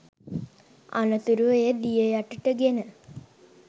අනතුරුව එය දිය යටට ගෙන